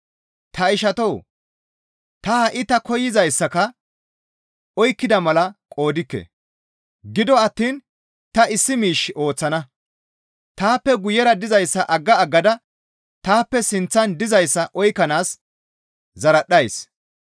Ta ishatoo! Ta ha7i ta koyzayssaka oykkida mala qoodikke; gido attiin ta issi miish ooththana; taappe guyera dizayssa agga aggada taappe sinththan dizayssa oykkanaas zaradhdhays.